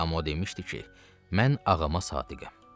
Amma o demişdi ki, mən ağama sadiqəm.